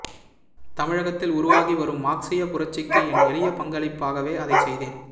தமிழகத்தில் உருவாகி வரும் மார்க்ஸிய புரட்சிக்கு என் எளிய பங்களிப்பாகவே அதைச் செய்தேன்